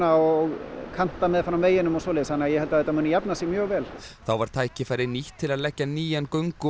og kanta meðfram veginum og svoleiðis þannig að ég held þetta muni jafna sig mjög vel þá var tækifærið nýtt til að leggja nýjan göngu og